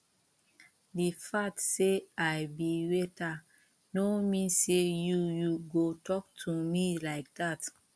the fact say i be waiter no mean say you you go talk to me like dat